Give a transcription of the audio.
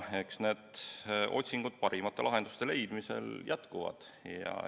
Eks need otsingud parimate lahenduste leidmiseks jätkuvad.